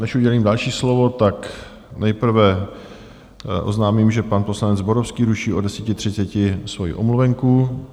Než udělím další slovo, tak nejprve oznámím, že pan poslanec Zborovský ruší od 10.30 svoji omluvenku.